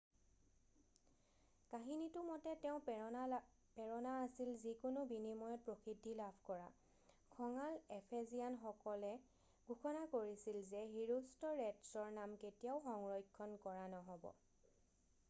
কাহিনীটো মতে তেওঁৰ প্ৰেৰণা আছিল যিকোনো বিনিময়ত প্ৰসিদ্ধি লাভ কৰা খঙাল এফেজিয়ানসকলে ঘোষণা কৰিছিল যে হিৰোষ্টৰেটছৰ নাম কেতিয়াও সংৰক্ষণ কৰা নহ'ব